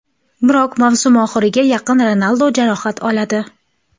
Biroq mavsum oxiriga yaqin Ronaldo jarohat oladi.